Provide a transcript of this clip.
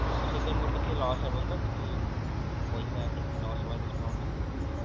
ତ ସେଥିରେ ମୋର କିଛି loss ହବନି ତା କିଛି ମାନେ ପଇସା କିଛି loss ହବାର ସମ୍ଭାବନା ଅଛି ?